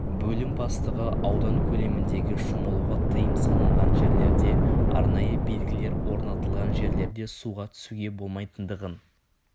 бөлім бастығы аудан көлеміндегі шомылуға тыйым салынған жерлерде арнайы белгілер орнатылған жерлерде суға түсуге болмайтындығын